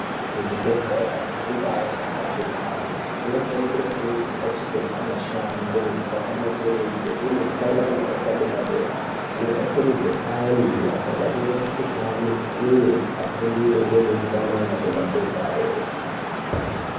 Kuzvibhedhlera nekundau kuno batsirwa antu kunofana kunge kwakachekerwa mashango kwakatsonorodzwe kune hutsanana hwepadera dera kubatsiridza antu asabate mikuhlani uye afundire nezvehutsanana kumbatso dzavo.